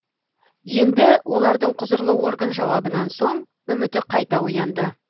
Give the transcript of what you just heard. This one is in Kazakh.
енді олардың құзырлы орган жауабынан соң үміті қайта оянды